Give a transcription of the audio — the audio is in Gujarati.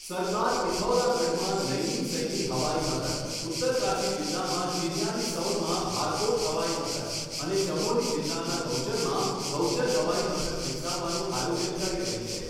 સરકાર પિથૌરાગઢમાં નૈની સૈની હવાઈ મથક, ઉત્તરકાશી જિલ્લામાં ચિન્યાલીસૌરમાં ભારકોટ હવાઈ મથક, અને ચમોલી જિલ્લાના ગૌચરમાં ગૌચર હવાઈ મથક વિકસાવવાનું આયોજન કરી રહી છે.